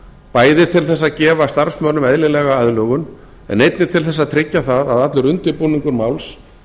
bæði til þess að gefa starfsmönnum eðlilega aðlögun en einnig til þess að tryggja það að allur undirbúningur máls